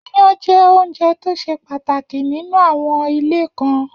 Iyán jẹ́ oúnjẹ tó ṣe pàtàkì nínú àwon ilé kan.